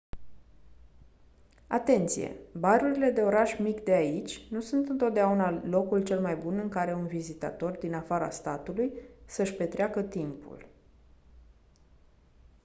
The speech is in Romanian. atenție barurile de oraș mic de aici nu sunt întotdeauna locul cel mai bun în care un vizitator din afara statului să-și petreacă timpul